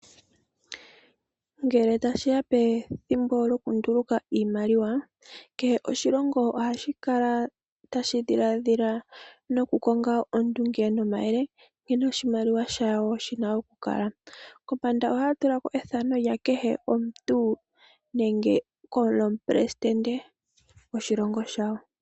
Ngele tashi ya pethimbo lyokunduluka iimaliwa, kehe oshilongo ohashi kala tashi dhiladhila nokukonga oondunge nomayele nkene oshimaliwa shawo shina okukala. Kombanda ohaya tula ko ethano lya kehe omuntu nenge lomupelesindente goshilongo shawo.